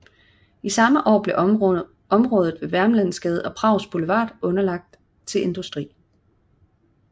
Samme år blev området ved Vermlandsgade og Prags Boulevard udlagt til industri